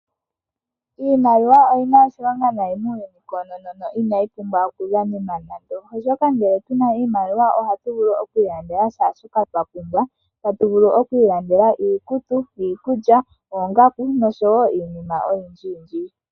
Iimaliwa oyina oshilonga nayi muuyuni koonono inayi oku dhanenwa nando, oshoka ngele tuna oshimaliwa ohatu vulu oku ilandela kehe shoka twapumbwa. Tatu vulu oku ilandela iikutu, iikulya, oongaku noshowo iinima oyindji yindji.